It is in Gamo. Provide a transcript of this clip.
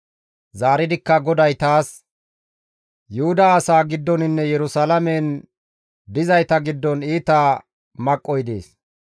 Zaaridikka GODAY taas, «Yuhuda asaa giddoninne Yerusalaamen dizayta giddon iita maqqoy dees.